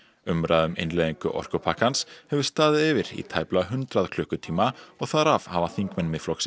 umræða um innleiðingu orkupakkans hefur staðið yfir í tæplega hundrað klukkutíma og þar af hafa þingmenn Miðflokksins